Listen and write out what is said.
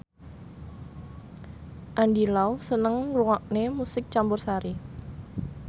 Andy Lau seneng ngrungokne musik campursari